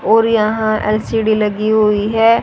और यहां एल_सी_डी लगी हुई है।